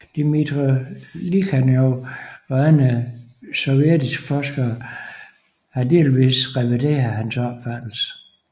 Dmítrij Likhatjov og andre sovjetiske forskere har delvis revideret hans opfattelse